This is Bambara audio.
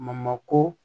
Mamako